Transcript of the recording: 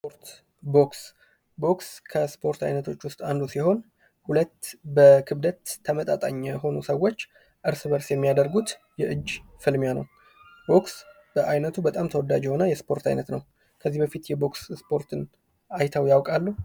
ስፖርት ፦ ቦክስ ፦ ቦክስ ከስፖርት አይነቶች ውስጥ አንዱ ሲሆን ሁለት በክብደት ተመጣጣኝ የሆኑ ሰዎች እርስ በእርስ የሚያደርጉት የእጅ ፍልሚያ ነው ። ቦክስ በአይነቱ በጣም ተወዳጅ የሆነ የስፖርት አይነት ነው ። ከዚህ በፊት የቦክስ ስፖርትን አይተው ያውቃሉ ?